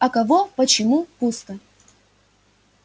а кого почему пусто